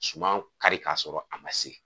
Suman kari k'a sɔrɔ a man se.